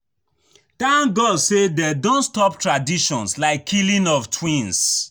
Thank God say dey don stop traditions like killing of twins